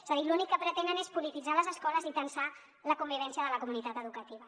és a dir l’únic que pretenen és polititzar les escoles i tensar la convivència de la comunitat educativa